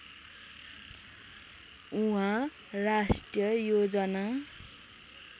उहाँ राष्ट्रिय योजना